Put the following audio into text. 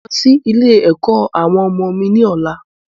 Mo n lọ sí ilé-ẹ̀kọ́ àwọn ọmọ mi ni ọ̀la.